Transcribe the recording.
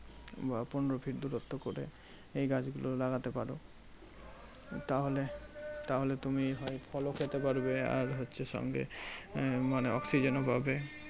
বা পনেরো feet দূরত্ব করে এই গাছগুলো লাগাতে পারো। তাহলে তুমি হয় ফলও খেতে পারবে আর হচ্ছে সঙ্গে মানে oxygen ও পাবে।